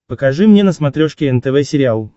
покажи мне на смотрешке нтв сериал